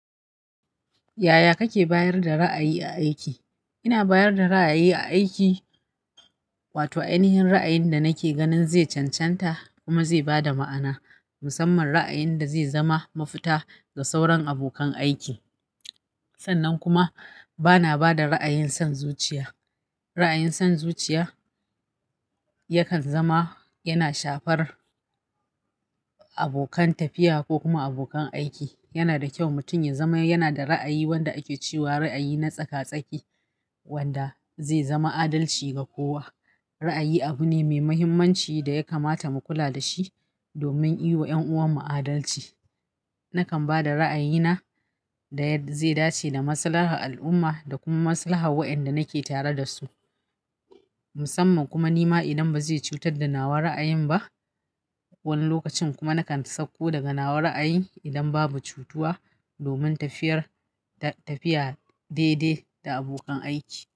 Yaya kake bayar da ra'ayi a aiki? Ina bayar da ra'ayi a aiki, wato ainihin ra'ayin da nake ganin zai cancanta kuma zai ba da ma'ana, musamman ra'ayin da zai zama mafita ga sauran abokan aiki. Sannan kuma bana ba da ra'ayin son zuciya. Ra'ayin sans zuciya yakan zama yana shafar abokan tafiya ko kuma abokan aiki. Yana da kyau mutum ya zama yana da ra'ayi wanda ake cewa ra'ayi na tsaka-tsaki wanda zai zama adalci ga kowa. Ra'ayi abu ne mai muhimmanci da ya kamata mu kula da shi domin yi wa 'yan'uwanmu adalci. Nakan ba da ra'ayina da yadda zai dace da masalaha al'umma da kuma masalaha wa'inda nake tare da su. Musamman kuma ni ma idan ba zai cutar da nawa ra'ayin ba. Wani lokacin kuma nakan sauko daga nawa ra'ayi idan babu cutuwa domin tafiyar da tafiya daidai da abokan aiki.